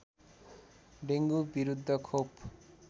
dengue विरुद्ध खोप